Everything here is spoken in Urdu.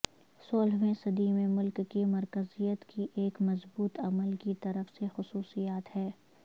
سولہویں صدی میں ملک کی مرکزیت کی ایک مضبوط عمل کی طرف سے خصوصیات ہے